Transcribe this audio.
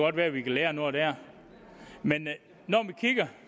godt være vi kan lære noget der men